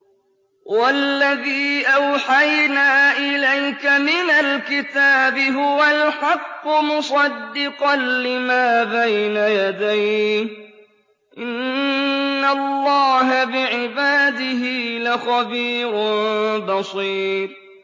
وَالَّذِي أَوْحَيْنَا إِلَيْكَ مِنَ الْكِتَابِ هُوَ الْحَقُّ مُصَدِّقًا لِّمَا بَيْنَ يَدَيْهِ ۗ إِنَّ اللَّهَ بِعِبَادِهِ لَخَبِيرٌ بَصِيرٌ